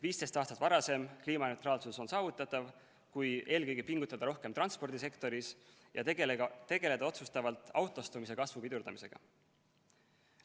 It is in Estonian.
15 aastat varasem kliimaneutraalsus on saavutatav, kui eelkõige pingutada rohkem transpordisektoris ja tegeleda otsustavalt autostumise kasvu pidurdamisega.